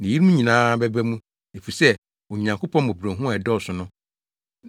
na eyinom nyinaa bɛba mu efisɛ Onyankopɔn mmɔborɔhunu a ɛdɔɔso no,